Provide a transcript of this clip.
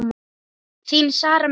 Þín Sara Mist.